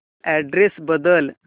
address बदल